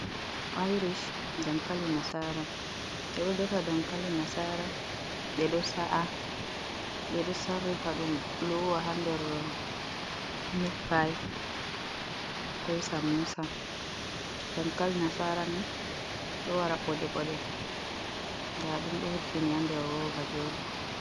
Irish, dankali nasara, ɓe ɗo defa dankali nasara, ɓe ɗo sa’a, ɓe ɗo sarrifa dum luwa ha nder mitpai, ko samosa. Dankali nasara ni do wara ɓoɗe-ɓoɗe, nda ɗum ɗo hebbini ha nder roba jodi.